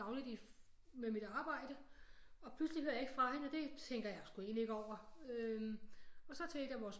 Dagligt i med mit arbejde og pludselig hører jeg ikke fra hende og det tænker jeg sgu egentligt ikke over øh og så til et af vores